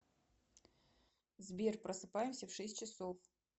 сбер просыпаемся в шесть часов